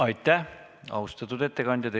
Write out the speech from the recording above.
Aitäh, austatud ettekandja!